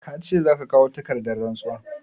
Ka ce za ka kawo takardar rantsuwar?